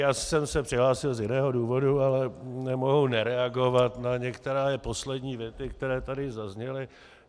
Já jsem se přihlásil z jiného důvodu, ale nemohu nereagovat na některé poslední věty, které tady zazněly.